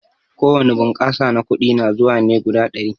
Ko wani bunƙasa na kuɗi na zuwa ne guda ɗari.